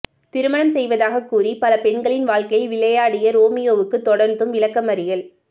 திருமணம் செய்வதாக கூறி பல பெண்களின் வாழ்க்கையில் விளையாடிய ரோமியோவுக்கு தொடர்ந்தும் விளக்கமறியல்